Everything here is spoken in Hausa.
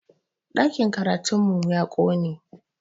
Ɗakin karatun mu ya ƙone